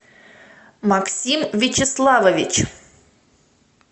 максим вячеславович